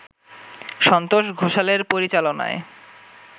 সন্তোষ ঘোষালের পরিচালনায়